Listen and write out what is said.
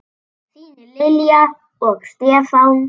Þín Lilja og Stefán.